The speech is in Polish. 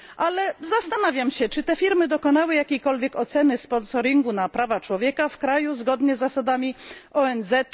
Ale zastanawiam się, czy te firmy dokonały jakiejkolwiek oceny wpływu tego sponsoringu na prawa człowieka w kraju, zgodnie z zasadami ONZ?